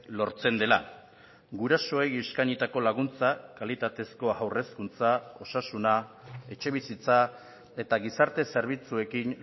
lortzen dela gurasoei eskainitako laguntza kalitatezko haur hezkuntza osasuna etxebizitza eta gizarte zerbitzuekin